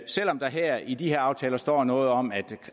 selv om der i de her aftaler står noget om at